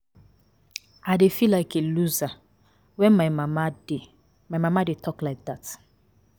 I dey feel like a loser wen my mama dey my mama dey talk like dat